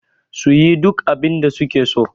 su yi duk abinda suke so